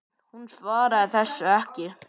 Hún svaraði þessu ekki.